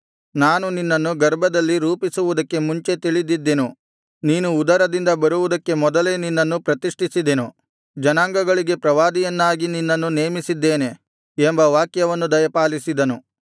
ನಾನು ನಿನ್ನನ್ನು ಗರ್ಭದಲ್ಲಿ ರೂಪಿಸುವುದಕ್ಕೆ ಮುಂಚೆ ತಿಳಿದಿದ್ದೆನು ನೀನು ಉದರದಿಂದ ಬರುವುದಕ್ಕೆ ಮೊದಲೇ ನಿನ್ನನ್ನು ಪ್ರತಿಷ್ಠಿಸಿದ್ದೆನು ಜನಾಂಗಗಳಿಗೆ ಪ್ರವಾದಿಯನ್ನಾಗಿ ನಿನ್ನನ್ನು ನೇಮಿಸಿದ್ದೇನೆ ಎಂಬ ವಾಕ್ಯವನ್ನು ದಯಪಾಲಿಸಿದನು